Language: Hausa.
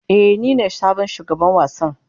Ee, nine sabon shugaban wasan.